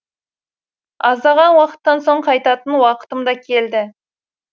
аздаған уақыттан соң қайтатын уақытым да келді